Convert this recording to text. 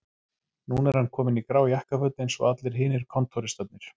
Núna er hann kominn í grá jakkaföt eins og allir hinir kontóristarnir